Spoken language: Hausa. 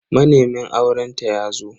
Manemin aurenta yazo.